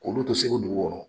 K'o lu to Segu dugu kɔnɔ